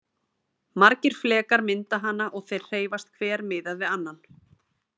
Margir flekar mynda hana og þeir hreyfast hver miðað við annan.